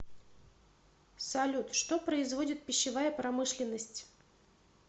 салют что производит пищевая промышленность